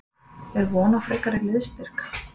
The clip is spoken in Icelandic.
Er von á frekari liðsstyrk?